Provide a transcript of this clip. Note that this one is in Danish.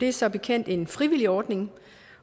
er som bekendt en frivillig ordning